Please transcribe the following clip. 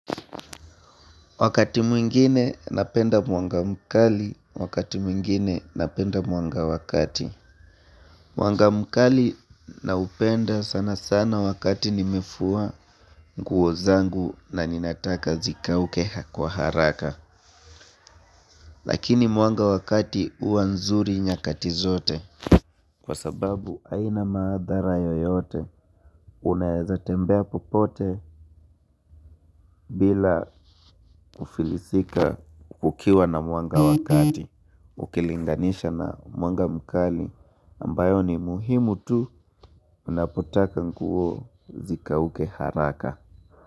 Wakati mwingine, napenda mwanga mkali, wakati mwingine napenda mwanga wakati. Mwanga mkali naupenda sana sana wakati nimefua nguo zangu, na ninataka zikauke kwa haraka. Lakini mwanga wakati huwa nzuri nyakati zote. Kwa sababu aina maadhara yoyote, unaweza tembea popote bila kufilisika kukiwa na mwanga wakati, ukilinganisha na mwanga mkali ambayo ni muhimu tu unapotaka nguo zikauke haraka.